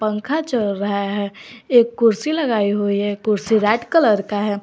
पंखा चल रहा है एक कुर्सी लगाई हुई है कुर्सी रेड कलर का है।